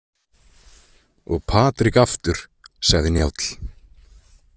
Og Patrik aftur, sagði Njáll.